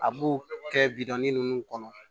A b'o kɛ bidɔnin ninnu kɔnɔ